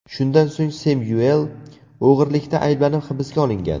Shundan so‘ng Semyuel o‘g‘irlikda ayblanib hibsga olingan.